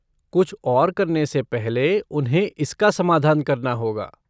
कुछ और करने से पहले उन्हें इसका समाधान करना होगा।